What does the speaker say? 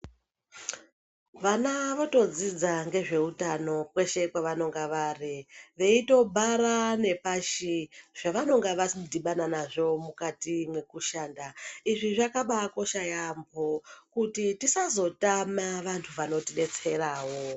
Vana votodzidza ngezveutano kweshe kwavanonga vari veitobhara nepashi zvavanonga vadhibana nazvo mukati mwekushanda. Izvi zvakabaakosha yaambo kuti tisazotama vantu vanotidetserawo.